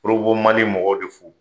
mali mɔgɔw de fo.